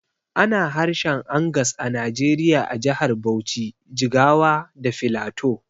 Ana harshen Angas a Najeriya a jahar Bauchi, Jigawa da Filato